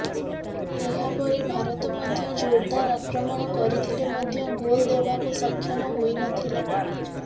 ଏହାପରେ ଭାରତ ମଧ୍ୟ ଜୋରଦାର ଆକ୍ରମଣ କରିଥିଲେ ମଧ୍ୟ ଗୋଲ ଦେବାକୁ ସକ୍ଷମ ହୋଇ ନ ଥିଲା